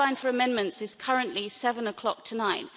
The deadline for amendments is currently 7 o'clock tonight.